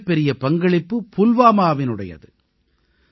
இதில் மிகப்பெரிய பங்களிப்பு புல்வாமாவினுடையது